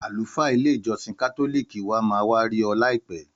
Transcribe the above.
Àlùfáà ilé ìjósìn kátólìkì wa ma wá ri óò láìpé